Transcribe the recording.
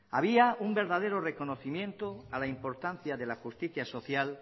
había un verdadero reconocimiento a la importancia de la justicia social